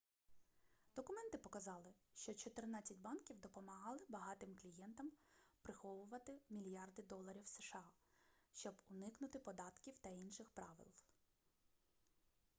документи показали що чотирнадцять банків допомагали багатим клієнтам приховувати мільярди доларів сша щоб уникнути податків та інших правил